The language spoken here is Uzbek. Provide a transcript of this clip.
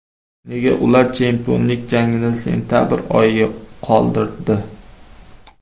Nega ular chempionlik jangini sentabr oyiga qoldirdi?